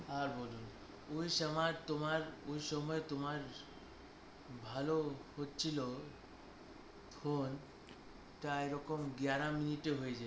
আর বলুন অই সমই তমার আমার ভালো হছিল ত এই রকম গায়ার minute হয়ে যায়